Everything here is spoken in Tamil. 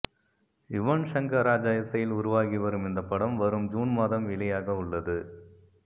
யுவன்ஷங்கர் ராஜா இசையில் உருவாகி வரும் இந்த படம் வரும் ஜூன் மாதம் வெளியாகவுள்ளது